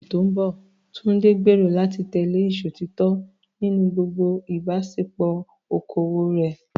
Ní oṣù tó ń bọ̀, Tunde gbèrò láti tẹ̀lé ìṣòtítọ́ nínú gbogbo ìbáṣepọ̀ okòwò rẹ̀.